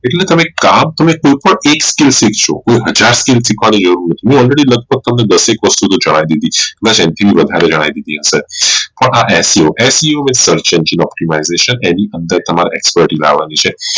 એટલે તમે એક કામ તમે કોઈ પણ એક છો કોઈ હાજર skill શીખવાડી ગયું નથી હું already લગભગ તમને દસ એક વસ્તુ જણાઈ દીધી કધાચ આનાથી વધારે જણાઈ દીધી હશે